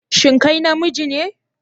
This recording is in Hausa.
Shin kai namiji ne?